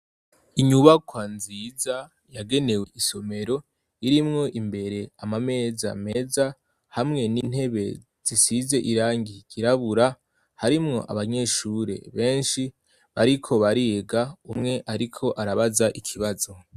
Inyubakwa nziza yagenewe isomero irimwo imbere amameza meza hamwe n'intebe zisize irangi ryirabura harimwo abanyeshure benshi bariko bariga. Umwe ariko arabaza ikibazo.